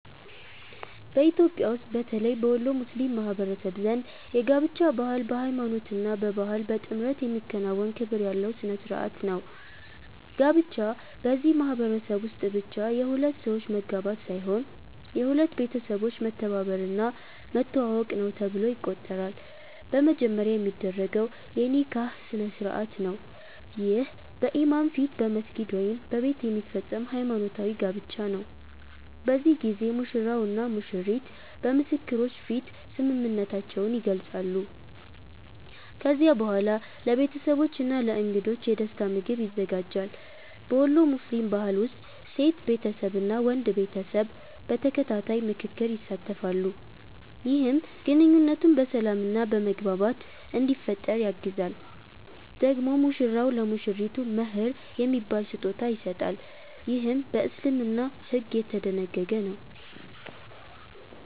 በኢትዮጵያ ውስጥ በተለይ በወሎ ሙስሊም ማህበረሰብ ዘንድ የጋብቻ ባህል በሃይማኖት እና በባህል በጥምረት የሚከናወን ክብር ያለው ሥነ ሥርዓት ነው። ጋብቻ በዚህ ማህበረሰብ ውስጥ ብቻ የሁለት ሰዎች መጋባት ሳይሆን የሁለት ቤተሰቦች መተባበር እና መተዋወቅ ነው ተብሎ ይቆጠራል። በመጀመሪያ የሚደረገው የ“ኒካህ” ስነ-ሥርዓት ነው። ይህ በኢማም ፊት በመስጊድ ወይም በቤት የሚፈጸም ሃይማኖታዊ ጋብቻ ነው። በዚህ ጊዜ ሙሽራው እና ሙሽሪቱ በምስክሮች ፊት ስምምነታቸውን ይገልጻሉ። ከዚያ በኋላ ለቤተሰቦች እና ለእንግዶች የደስታ ምግብ ይዘጋጃል። በወሎ ሙስሊም ባህል ውስጥ ሴት ቤተሰብ እና ወንድ ቤተሰብ በተከታታይ ምክክር ይሳተፋሉ፣ ይህም ግንኙነቱ በሰላም እና በመግባባት እንዲፈጠር ያግዛል። ደግሞ ሙሽራው ለሙሽሪቱ “መህር” የሚባል ስጦታ ይሰጣል፣ ይህም በእስልምና ሕግ የተደነገገ ነው።